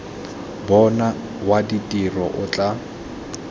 bona wa ditiro o tla